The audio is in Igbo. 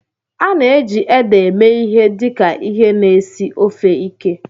A na-eji ede eme ihe dị ka ihe na-esi ofe ike.